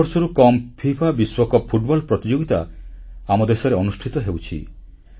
ସତର ବର୍ଷରୁ କମ୍ ଫିଫା ବିଶ୍ୱକପ୍ ଫୁଟବଲ ପ୍ରତିଯୋଗିତା ଆମ ଦେଶରେ ଅନୁଷ୍ଠିତ ହେଉଛି